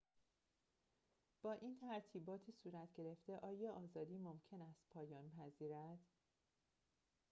با این ترتیبات صورت‌گرفته این آزادی ممکن است پایان پذیرد